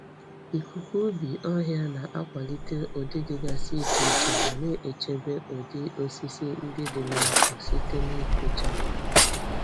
Ịkụkọ ubi ọhịa na-akwalite ụdị dịgasị iche iche ma na-echebe ụdị osisi ndị dị n'afọ site na ikpochapụ.